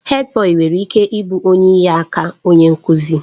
Hèdbọyi nwere ike ịbụ onye inyeaka onye nkuzi.